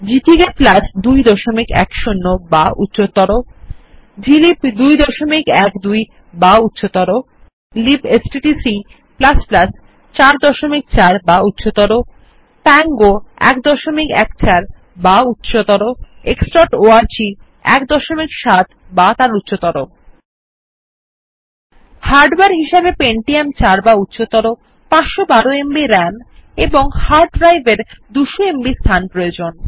GTK 210 বা উচ্চতর glib 212 বা উচ্চতর libstdc 43 বা উচ্চতর পাঙ্গো 114 বা উচ্চতর xঅর্গ 17 বা উচ্চতর হার্ডওয়ার হিসাবে পেন্টিয়াম ৪ বা উচ্চতর 512এমবি রাম এবং হার্ড ড্রাইভ এর 200এমবি স্থান প্রয়োজন